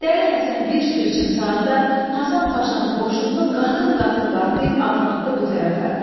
Dəli Həsən bir su içim saatda Hasan Paşanın qoşununu qatım-qatım qatlayıb ağnadı bu tərəfə.